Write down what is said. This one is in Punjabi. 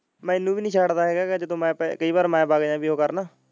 ਮੈਨੂੰ ਵੀ ਨੀ ਛੱਡ ਦਾ ਹੈਗਾ ਜਦੋ ਮੈਂ ਕਈ ਵਾਰ ਮੈਂ ਵੱਗ .